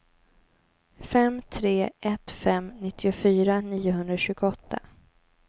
fem tre ett fem nittiofyra niohundratjugoåtta